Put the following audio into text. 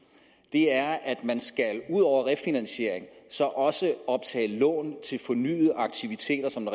er at man ud over refinansiering så også optage lån til fornyede aktiviteter som